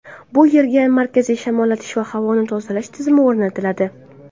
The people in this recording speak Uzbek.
Bu yerga markaziy shamollatish va havoni tozalash tizimi o‘rnatiladi.